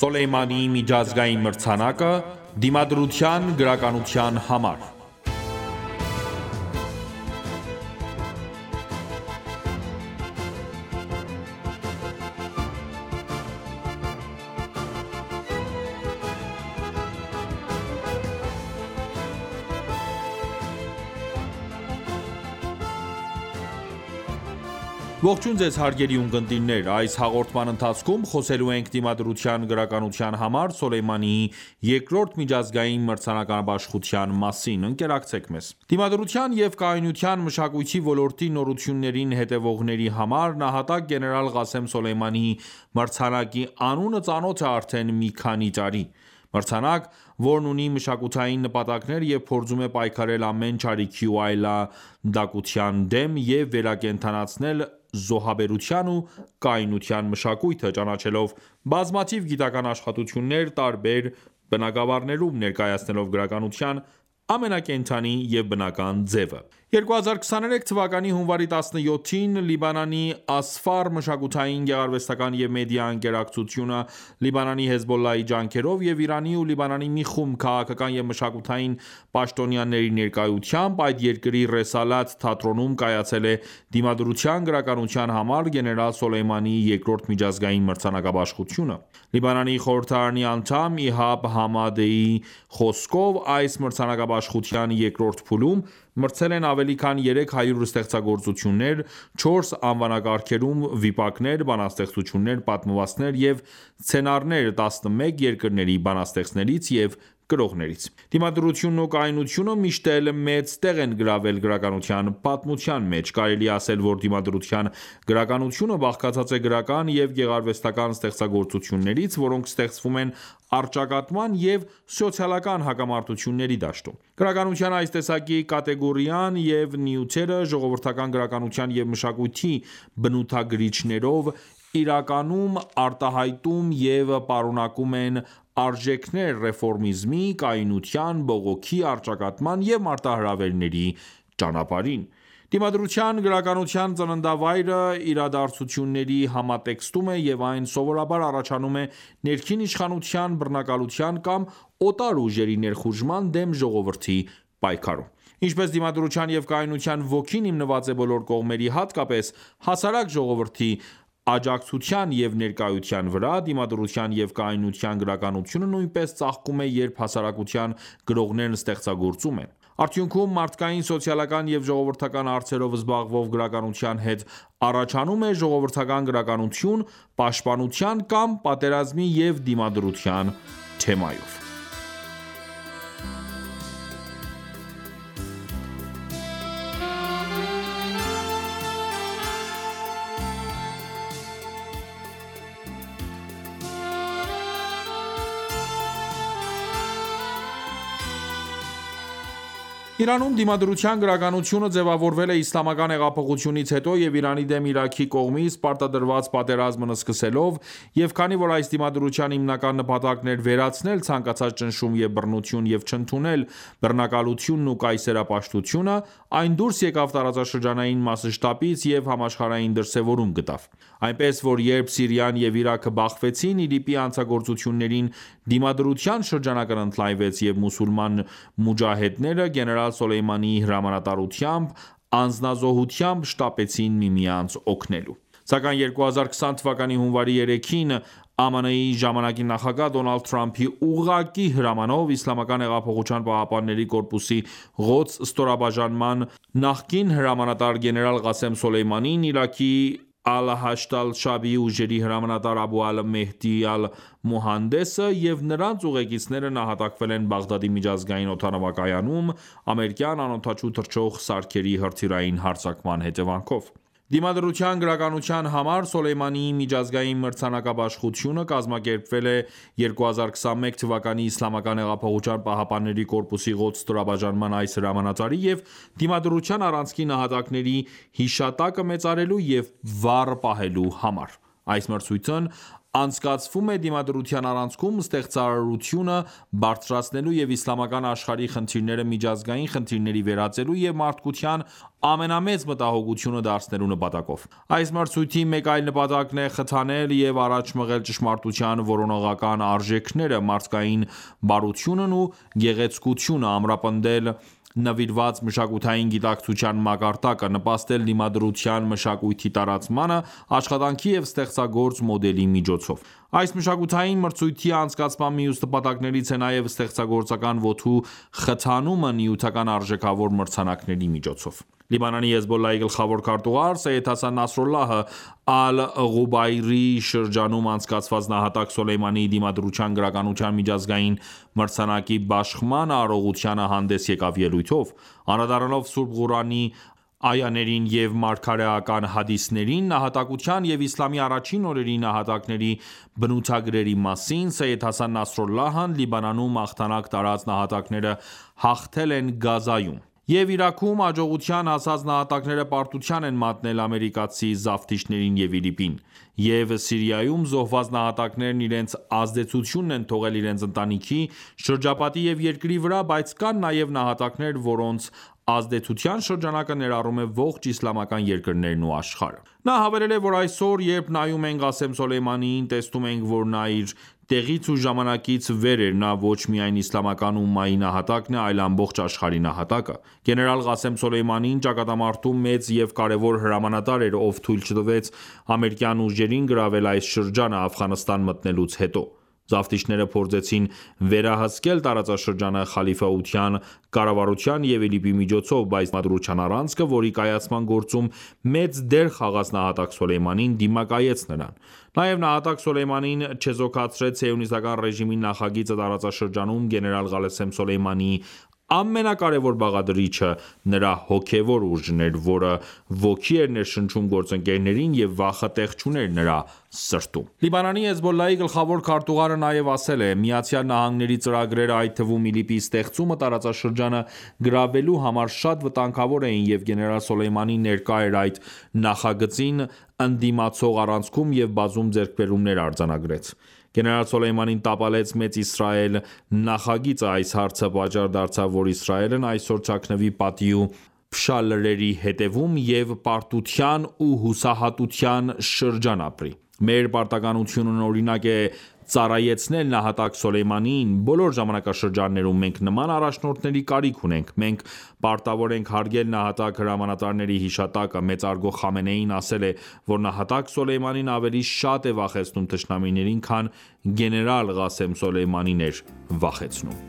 Սոլեյմանիի միջազգային մրցանակը՝ Դիմադրության գրականության համար Ողջույն ձեզ հարգելի ունկնդիրներ: Այս հաղորդման ընթացքում խոսելու ենք Դիմադրության գրականության համար Սոլեյմանիի երկրորդ միջազգային մրցանակաբաշխության մասին: Ընկերակցեք մեզ: Դիմադրության և կայունության մշակույթի ոլորտի նորություններին հետևողների համար «Նահատակ գեներալ Ղասեմ Սոլեյմանի» մրցանակի անունը ծանոթ է արդեն մի քանի տարի։ Մրցանակ, որն ունի մշակութային նպատակներ և փորձում է պայքարել ամեն չարիքի ու այլանդակության դեմ և վերակենդանացնել զոհաբերության ու կայունության մշակույթը՝ ճանաչելով բազմաթիվ գիտական աշխատություններ տարբեր բնագավառներում՝ ներկայացնելով գրականության ամենակենդանի և բնական ձևը: 2023 թվականի հունվարի 17-ին Լիբանանի «Ասֆար» մշակութային, գեղարվեստական և մեդիա ընկերակցությունը, Լիբանանի Հեզբոլլահի ջանքերով և Իրանի ու Լիբանանի մի խումբ քաղաքական և մշակութային պաշտոնյաների ներկայությամբ, այդ երկրի Ռեսալաթ թատրոնում կայացել է Դիմադրության գրականության համար գեներալ Սոլեյմանիի երկրորդ միջազգային մրցանակաբաշխությունը: Լիբանանի խորհրդարանի անդամ Իհաբ Համադեի խոսքով, այս մրցանակաբաշխության երկրորդ փուլում մրցել են ավելի քան 300 ստեղծագործություններ 4 անվանակարգերում՝ վիպակներ, բանաստեղծություններ, պատմվածքներ և սցենարներ 11 երկրների բանաստեղծներից և գրողներից։ Դիմադրությունն ու կայունությունը միշտ էլ մեծ տեղ են գրավել գրականության պատմության մեջ։ Կարելի է ասել, որ դիմադրության գրականությունը բաղկացած է գրական և գեղարվեստական ստեղծագործություններից, որոնք ստեղծվում են առճակատման և սոցիալական հակամարտությունների դաշտում: Գրականության այս տեսակի կատեգորիան և նյութերը ժողովրդական գրականության և մշակույթի բնութագրիչներով իրականում արտահայտում և պարունակում են արժեքներ ռեֆորմիզմի, կայունության, բողոքի, առճակատման և մարտահրավերի ճանապարհին: Դիմադրության գրականության ծննդավայրը իրադարձությունների համատեքստում է և այն սովորաբար առաջանում է ներքին իշխանության բռնակալության կամ օտար ուժերի ներխուժման դեմ ժողովրդի պայքարում: Ինչպես դիմադրության և կայունության ոգին հիմնված է բոլոր կողմերի, հատկապես հասարակ ժողովրդի աջակցության և ներկայության վրա, դիմադրության և կայունության գրականությունը նույնպես ծաղկում է, երբ հասարակության գրողներն ստեղծագործում են: Արդյունքում մարդկային, սոցիալական և ժողովրդական հարցերով զբաղվող գրականության հետ, առաջանում է ժողովրդական գրականություն՝ պաշտպանության կամ պատերազմի և դիմադրության թեմայով: Իրանում դիմադրության գրականությունը ձևավորվել է իսլամական հեղափոխությունից հետո և Իրանի դեմ Իրաքի կողմից պարտադրված պատերազմն սկսվելով, և քանի որ այս դիմադրության հիմնական նպատակն էր վերացնել ցանկացած ճնշում և բռնություն և չընդունել բռնակալությունն ու կայսերապաշտությունը, այն դուրս եկավ տարածաշրջանային մասշտաբից և համաշխարհային դրսևորում գտավ: Այնպես, որ երբ Սիրիան և Իրաքը բախվեցին ԻԼԻՊ-ի հանցագործություններին, դիմադրության շրջանակն ընդլայնվեց, և մուսուլման մուջահեդները գեներալ Սոլեյմանիի հրամանատարությամբ անձնազոհությամբ շտապեցին միմյանց օգնելու։ Սակայն 2020թ. հունվարի 3-ին, ԱՄՆ-ի ժամանակի նախագահ՝ Դոնալդ Թրամփի ուղղակի հրամանով, Իսլամական հեղափոխության պահապանների կորպուսի Ղոդս ստորաբաժանման նախկին հրամանատար՝ գեներալ Ղասեմ Սոլեյմանին, Իրաքի Ալ-Հաշդ Ալ-Շաաբի ուժերի հրամանատար՝ Աբու ալ Մահդի Ալ-Մուհանդեսը, և նրանց ուղեկիցները նահատակվել են Բաղդադի միջազգային օդանավակայանում՝ ամերիկյան անօդաչու թռչող սարքերի հրթիռային հարձակման հետևանքով։ Դիմադրության գրականության համար Սոլեյմանիի միջազգային մրցանակաբաշխությունը կազմակերպվել է 2021 թ. ԻՀՊԿ-ի Ղոդս ստորաբաժնման այս հրամանատարի և Դիմադրության առանցքի նահատակների հիշատակը մեծարելու և վառ պահելու համար: Այս մրցույթն անցկացվում է դիմադրության առանցքում ստեղծարարությունը բարձրացնելու և իսլամական աշխարհի խնդիրները միջազգային խնդիրների վերածելու և մարդկության ամենամեծ մտահոգությունը դարձնելու նպատակով։ Այս մրցույթի մեկ այլ նպատակն է խթանել և առաջ մղել ճշմարտության որոնողական արժեքները, մարդկային բարությունն ու գեղեցկությունը, ամրապնդել նվիրված մշակութային գիտակցության մակարդակը, նպաստել դիմադրության մշակույթի տարածմանը՝ աշխատանքի և ստեղծագործ մոդելի միջոցով: Այս մշակութային մրցույթի անցկացման մյուս նպատակներից է նաև ստեղծագործական ոգու խթանումը նյութական արժեքավոր մրցանակների միջոցով։ Լիբանանի Հեզբոլլահի գլխավոր քարտուղար Սեյյեդ Հասան Նասրալլահը Ալ-Ղուբայրի շրջանում անցկացված «Նահատակ Սոլեյմանիի դիմադրության գրականության միջազգային մրցանակի» բաշխման արարողությանը հանդես եկավ ելույթով։ Անդրադառնալով Սուրբ Ղուրանի այաներին և մարգարեական հադիսներին նահատակության և իսլամի առաջին օրերի նահատակների բնութագրերի մասին, Սեյյեդ Հասան Նասրալլահն «Լիբանանում հաղթանակ տարած նահատակները հաղթել են Գազայում։ Եվ Իրաքում հաջողության հասած նահատակները պարտության են մատնել ամերիկացի զավթիչներին և ԻԼԻՊ-ին: Եվ Սիրիայում զոհված նահատակներն իրենց ազդեցությունն են թողել իրենց ընտանիքի, շրջապատի և երկրի վրա, բայց կան նաև նահատակներ, որոնց ազդեցության շրջանակը ներառում է ողջ իսլամական երկրներն ու աշխարհը»: Նա հավելել է, որ այսօր, երբ նայում ենք Ղասեմ Սոլեյմանիին, տեսնում ենք, որ նա իր տեղից ու ժամանակից վեր էր։ Նա ոչ միայն իսլամական ումմայի նահատակն է, այլ ամբողջ աշխարհի նահատակը: Գեներալ Ղասեմ Սոլեյմանին ճակատամարտում մեծ և կարևոր հրամանատար էր, ով թույլ չտվեց ամերիկյան ուժերին գրավել այս շրջանը Աֆղանստան մտնելուց հետո: Զավթիչները փորձեցին վերահսկել տարածաշրջանը խալիֆայության կառավարության և ԻԼԻՊ-ի միջոցով: Բայց դիմադրության առանցքը, որի կայացման գործում մեծ դեր խաղաց նահատակ Սոլեյմանին, դիմակայեց նրանց: Նաև նահատակ Սոլեյմանին չեզոքացրեց Սիոնիստական ռեժիմի նախագիծը տարածաշրջանում։ Գեներալ Ղասեմ Սոլեյմանիի ամենակարևոր բաղադրիչը նրա հոգևոր ուժն էր, որը ոգի էր ներշնչում գործընկերներին, և վախը տեղ չուներ նրա սրտում։ Լիբանանի Հեզբոլլահի գլխավոր քարտուղարը նաև ասել է. «ԱՄՆ-ի ծրագրերը, այդ թվում ԻԼԻՊ-ի ստեղծումը տարածաշրջանը գրավելու համար, շատ վտանգավոր էին, և գեներալ Սոլեյմանին ներկա էր այդ նախագծին ընդդիմացող առանցքում և բազում ձեռքբերումներ արձանագրեց։ Գեներալ Սոլեյմանին տապալեց Մեծ Իսրայել նախագիծը: Այս հարցը պատճառ դարձավ, որ Իսրայելն այսօր թաքնվի պատի ու փշալարերի հետևում և պարտության ու հուսահատության շրջան ապրի: Մեր պարտականությունն է օրինակ ծառայեցնել նահատակ Սոլեյմանիին: Բոլոր ժամանակաշրջաններում, մենք նման առաջնորդների կարիք ունենք: Մենք պարտավոր ենք հարգել նահատակ հրամանատարների հիշատակը: Մեծարգո Խամենեին ասել է, որ նահատակ Սոլեյմանին ավելի շատ է վախեցնում թշնամիներին, քան գեներալ Ղասեմ Սոլեյմանին էր վախեցնում: